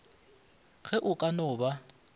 ge o ka no ba